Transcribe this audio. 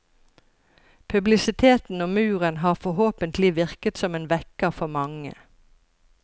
Publisiteten om muren har forhåpentlig virket som en vekker for mange.